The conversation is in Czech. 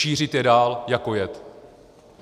Šířit je dál jako jed.